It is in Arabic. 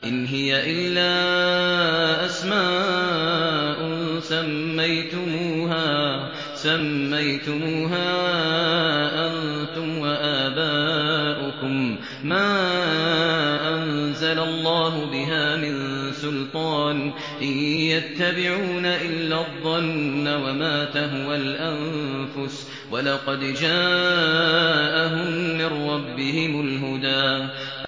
إِنْ هِيَ إِلَّا أَسْمَاءٌ سَمَّيْتُمُوهَا أَنتُمْ وَآبَاؤُكُم مَّا أَنزَلَ اللَّهُ بِهَا مِن سُلْطَانٍ ۚ إِن يَتَّبِعُونَ إِلَّا الظَّنَّ وَمَا تَهْوَى الْأَنفُسُ ۖ وَلَقَدْ جَاءَهُم مِّن رَّبِّهِمُ الْهُدَىٰ